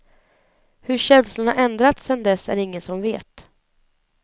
Hur känslorna ändrats sedan dess är det ingen som vet.